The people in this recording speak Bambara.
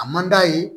A man d'a ye